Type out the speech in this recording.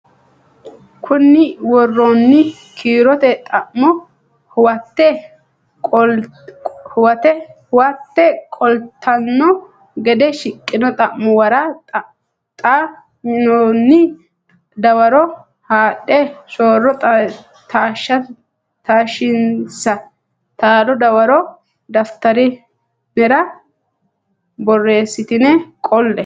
konni woroonni kiirote xa mo huwatte qoltanno gede shiqqino xa muwara xa minoonni dawaro haadhe so ro taashshinsa taalo dawaro daftari nera borressitine qolle.